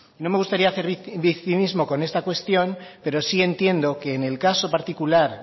no me gustaría hacer victimismos con esta cuestión pero sí entiendo que en el caso particular